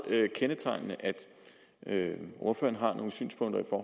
kendetegnende at ordføreren har nogle synspunkter